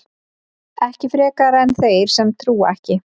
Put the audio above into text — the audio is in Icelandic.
Ekki frekar en þeir sem trúa ekki.